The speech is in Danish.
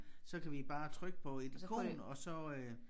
Så kan vi bare trykke på et ikon og så øh